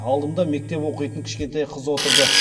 алдымда мектеп оқитын кішкентай қыз отырды